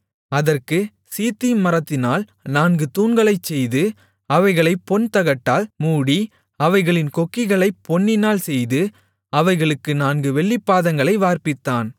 அதற்குச் சீத்திம் மரத்தினால் நான்கு தூண்களைச் செய்து அவைகளைப் பொன் தகட்டால் மூடி அவைகளின் கொக்கிகளைப் பொன்னினால்செய்து அவைகளுக்கு நான்கு வெள்ளிப்பாதங்களை வார்ப்பித்தான்